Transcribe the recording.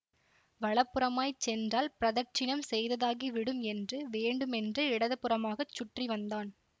வல புறமாய் சென்றால் பிரதட்சிணம் செய்ததாகி விடும் என்று வேண்டுமென்றே இடதுபுறமாகச் சுற்றி வந்தான்